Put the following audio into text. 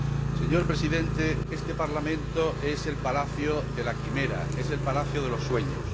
Señor Presidente, este Parlamento es el palacio de la quimera, el palacio de los sueños.